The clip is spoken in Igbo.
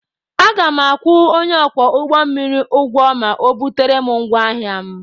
Aga m akwụ onye ọkwọ ụgbọ mmiri ụgwọ ma ọ butere m ngwaahịa m.